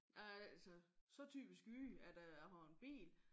Jeg er altså så typisk jyde at øh jeg har en bil